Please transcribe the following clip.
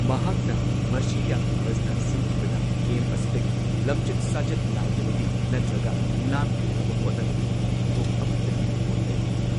ꯃꯍꯥꯛꯅ ꯃꯁꯤ ꯌꯥꯝꯅ ꯐꯖꯅ ꯁꯤꯟꯈꯤꯕꯅ ꯀꯦꯝꯞ ꯑꯁꯤꯗꯒꯤ ꯂꯝꯆꯠ ꯁꯥꯖꯠ ꯅꯥꯏꯗꯕꯒꯤ ꯅꯠꯇ꯭ꯔꯒ ꯅꯥꯟꯊꯣꯛꯅꯕ ꯍꯣꯠꯅꯕꯒꯤ ꯊꯧꯗꯣꯛ ꯑꯃꯠꯇꯒꯤ ꯔꯤꯄꯣꯔꯠ ꯂꯩꯈꯤꯗꯦ꯫